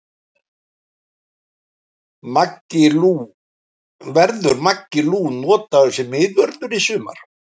Verður Maggi Lú notaður sem miðvörður í sumar?